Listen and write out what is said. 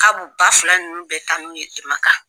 K'a b'u ba fila ninnu bɛɛ taa n'u ye Makan!